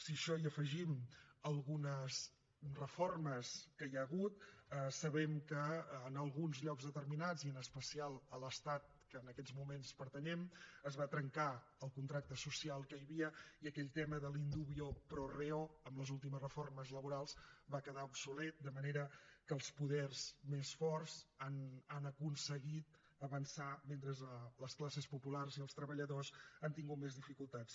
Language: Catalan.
si a això hi afegim algunes reformes que hi ha hagut sabem que en alguns llocs determinats i en especial a l’estat que en aquests moments pertanyem es va trencar el contracte social que hi havia i aquell tema del in dubio pro reo últimes reformes laborals va quedar obsolet de manera que els poders més forts han aconseguit avançar mentre que les classes populars i els treballadors han tingut més dificultats